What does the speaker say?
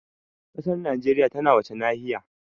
Ƙasar Najeriya tana wace nahiya?